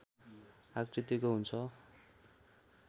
आकृतिको हुन्छ